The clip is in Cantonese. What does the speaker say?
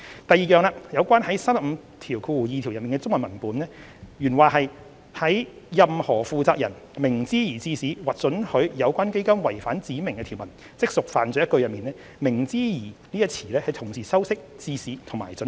第二，有關第352條的中文文本，原文"任何負責人明知而致使或准許有關基金違反指明的條文，即屬犯罪"一句中，"明知而"一詞是同時修飾"致使"及"准許"。